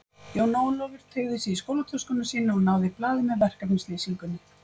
Jón Ólafur teygði sig í skólatöskuna sína og náði í blaðið með verkefnislýsingunni.